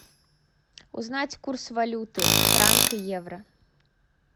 узнать курс валюты франк евро